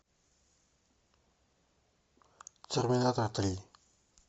терминатор три